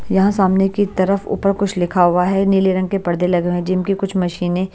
यहाँ सामने की तरफ ऊपर कुछ लिखा हुआ है नीले रंग के पर्दे लगे हुए हैं जिम की कुछ मशीनें--